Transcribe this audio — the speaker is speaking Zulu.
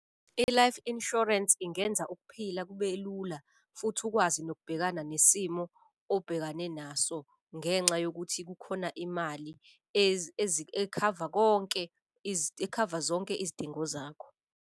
I-life insurance ingenza ukuphila kube lula futhi ukwazi nokubhekana nesimo obhekane naso, ngenxa yokuthi kukhona imali ekhava konke, ekhava zonke izidingo zakho.